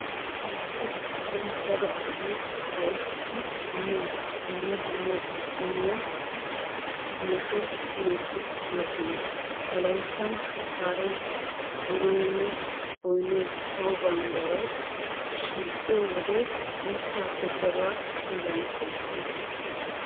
Wolaytta biittan daro asay ufayttidi miyo dumma dumma qommo masuha qumati de'oosona. Wolayttan shukkaaree, donoynne boynay sawo bambbariyara shiiqiyo wode muussaappe daruwa xeelan kalissees.